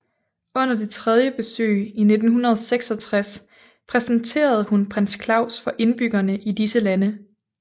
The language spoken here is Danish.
Under det tredje besøg i 1966 præsenterede hun prins Claus for indbyggerne i disse lande